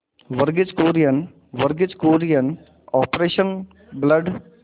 Verghese Kurien Verghese Kurien operation blood